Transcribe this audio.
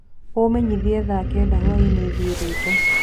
Umenyĩthĩe thaa kenda hwaĩnĩ thĩe rwĩmbo